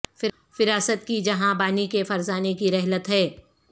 فراست کی جہاں بانی کے فرزانے کی رحلت ہے